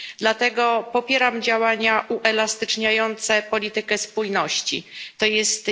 Dlatego popieram działania uelastyczniające politykę spójności, tj.